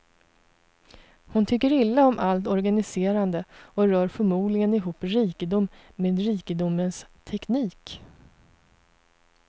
Hon tycker illa om allt organiserande och rör förmodligen ihop rikedom med rikedomens teknik.